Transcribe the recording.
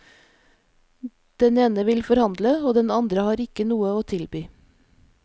Den ene vil forhandle, og den andre har ikke noe å tilby.